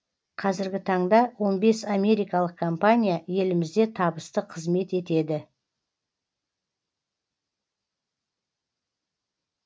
қазіргі таңда он бес америкалық компания елімізде табысты қызмет етеді